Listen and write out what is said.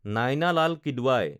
Naina Lal Kidwai